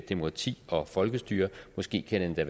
demokrati og folkestyre måske kan det